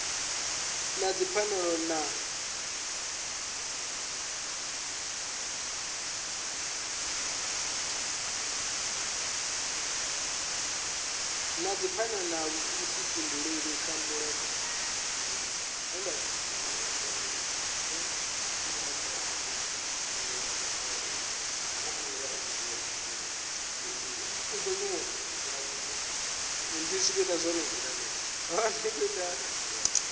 na dzipfanelo na vhuḓifhinduleli malugana